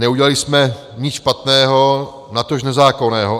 Neudělali jsme nic špatného, natož nezákonného.